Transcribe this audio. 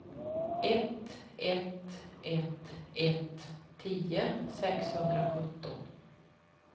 ett ett ett ett tio sexhundrasjutton